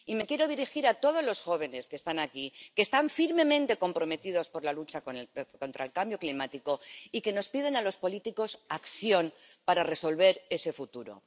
Y me quiero dirigir a todos los jóvenes que están aquí, que están firmemente comprometidos con la lucha contra el cambio climático y que nos piden a los políticos acción para resolver ese futuro.